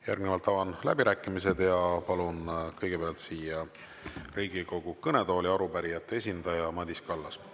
Järgnevalt avan läbirääkimised ja palun kõigepealt siia Riigikogu kõnetooli arupärijate esindaja Madis Kallase.